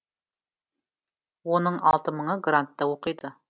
оның алты мыңы грантта оқиды